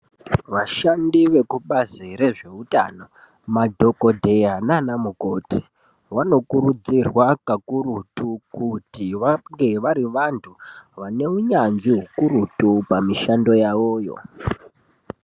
Vashandi vekubazi rezveutano madhokodheya nana mukoti vanokurudzirwa kakurutu kuti vave vari vantu vane unyanzvi hukurutu pamishando yavoyo.